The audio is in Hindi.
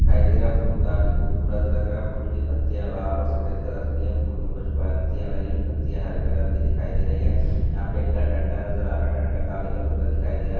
दिखाई दे रहा है फूल काफ़ी खूबसूरत लग रहा है फूल की पत्तियां लाल और सफ़ेद कलर की है फूल में कुछ पत्तियां लगी हुई है पत्तियां हरे कलर की दिखाई दे रही है यहाँ पे एक डंडा नज़र आ रहा है डंडा काले कलर का दिखाई दे रहा है।